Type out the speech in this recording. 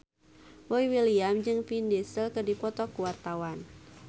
Boy William jeung Vin Diesel keur dipoto ku wartawan